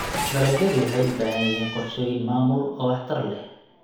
Dalagyadu waxay u baahan yihiin qorshooyin maamul oo waxtar leh.